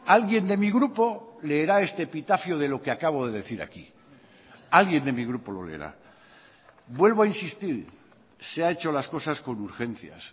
alguien de mi grupo leerá este epitafio de lo que acabo de decir aquí alguien de mi grupo lo leerá vuelvo a insistir se ha hecho las cosas con urgencias